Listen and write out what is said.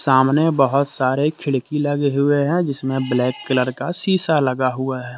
सामने में बहुत सारे खिड़की लगे हुए हैं जिसमें ब्लैक कलर का शीशा लगा हुआ है।